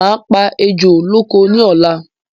Máa pa ejò lóko ní ọ̀la